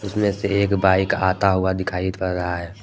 उसमें से एक बाइक आता हुआ दिखाई पड़ रहा है।